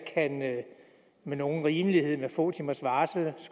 med nogen rimelighed med få timers varsel